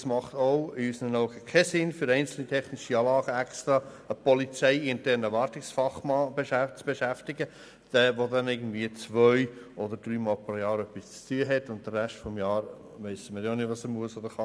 Es macht unseres Erachtens keinen Sinn, für einzelne technische Anlagen extra einen polizeiinternen Wartungsfachmann zu beschäftigen, der zwei- oder dreimal pro Jahr etwas zu tun hat und den Rest des Jahres nicht weiss, was er machen muss oder kann.